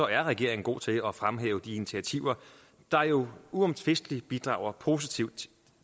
er regeringen god til at fremhæve de initiativer der jo uomtvisteligt bidrager positivt